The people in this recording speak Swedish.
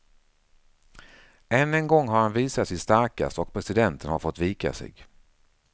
Än en gång har han visat sig starkast och presidenten har fått vika sig.